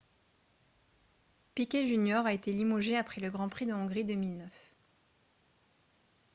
piquet jr a été limogé après le grand prix de hongrie 2009